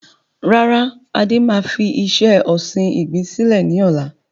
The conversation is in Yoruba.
Rárá, Adé máa fi iṣẹ́ ọsìn igbin sílẹ̀ ni ọ̀la.